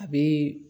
A bɛ